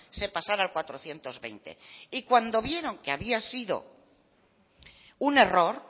se pasara al cuatrocientos veinte y cuando vieron que había sido un error